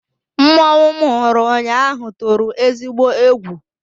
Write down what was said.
Mmọnwụ m hụrụ ụnyaahụ tụrụ ezigbo egwu.